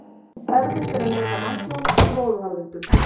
Erfitt er að meta manntjón í móðuharðindum.